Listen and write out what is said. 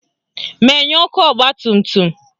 Menyuo ọkụ ọgbatumtum!